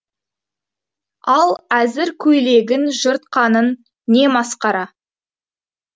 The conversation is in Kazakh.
ал әзір көйлегін жыртқаның не масқара